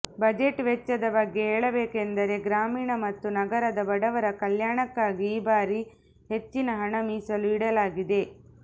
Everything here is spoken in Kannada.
ಬಜೆಟ್ ವೆಚ್ಚದ ಬಗ್ಗೆ ಹೇಳಬೆಕೆಂದರೆ ಗ್ರಾಮೀಣ ಮತ್ತು ನಗರದ ಬಡವರ ಕಲ್ಯಾಣಕ್ಕಾಗಿ ಈ ಬಾರಿ ಹೆಚ್ಚಿನ ಹಣ ಮೀಸಲು ಇಡಲಾಗಿದೆ